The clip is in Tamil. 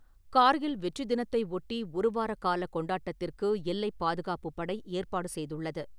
கார்கில் வெற்றி தினத்தை ஒட்டி ஒருவாரக் கால கொண்டாட்டத்திற்கு எல்லைப் பாதுகாப்புப் படை ஏற்பாடு செய்துள்ளது.